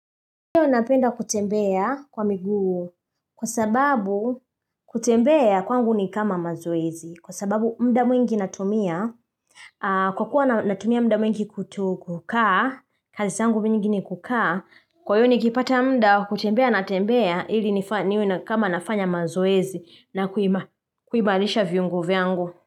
Ndiyo napenda kutembea kwa miguu, kwa sababu kutembea kwangu ni kama mazoezi kwa sababu muda mwingi natumia Kwa kuwa natumia muda mwingi kutu kukaa kazi zangu mingi ni kukaa kwa hiyo nikipata muda wa kutembea natembea ili ni kama nafanya mazoezi na kuimarisha viungo vyangu.